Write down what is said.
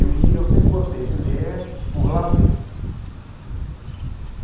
Eu lia, eu sempre gostei de ler por lazer.